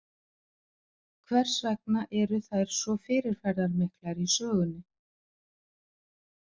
Hvers vegna eru þær svo fyrirferðarmiklar í sögunni?